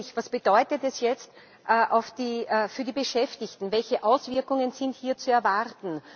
Nämlich, was bedeutet dies jetzt für die Beschäftigten, welche Auswirkungen sind hier zu erwarten?